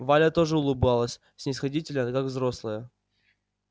валя тоже улыбалась снисходительно как взрослая